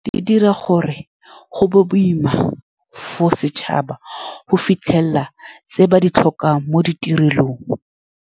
Di dira gore go be boima for setšhaba, go fitlhelela tse ba di tlhoka mo ditirelong.